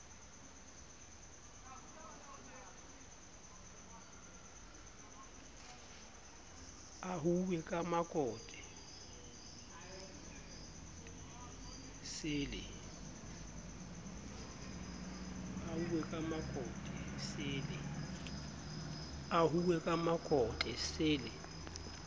ahuwe ka makote se le